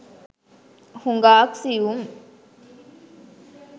හුඟාක් සියුම්